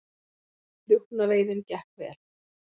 Rjúpnaveiðin gekk vel